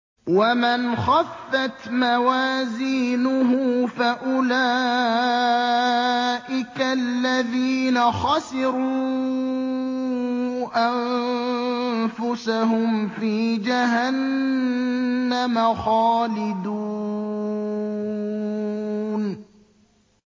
وَمَنْ خَفَّتْ مَوَازِينُهُ فَأُولَٰئِكَ الَّذِينَ خَسِرُوا أَنفُسَهُمْ فِي جَهَنَّمَ خَالِدُونَ